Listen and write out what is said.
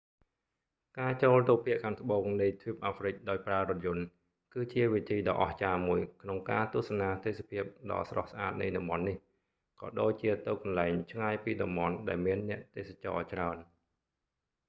ការចូលទៅភាគខាងត្បូងនៃទ្វីបអាហ្វ្រិកដោយប្រើរថយន្ត គឺជាវិធីដ៏អស្ចារ្យមួយ ក្នុងការទស្សនាទេសភាពដ៏ស្រស់ស្អាតនៃតំបន់នេះ ក៏ដូចជាទៅកន្លែងឆ្ងាយពីតំបន់ដែលមានអ្នកទេសចរច្រើន